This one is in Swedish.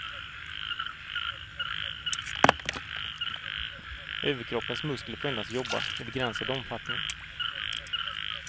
Överkroppens muskler får endast jobba i begränsad omfattning.